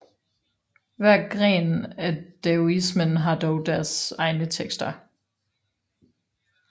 Hver gren af daoismen har dog deres egne tekster